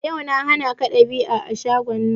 Daga yau na hanaka dab'i a shagon nan!